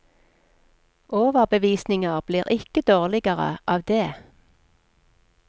Overbevisninger blir ikke dårligere av det.